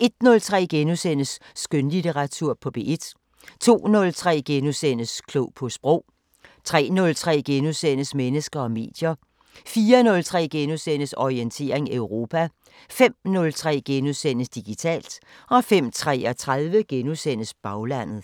ons) 01:03: Skønlitteratur på P1 * 02:03: Klog på Sprog * 03:03: Mennesker og medier * 04:03: Orientering Europa * 05:03: Digitalt * 05:33: Baglandet *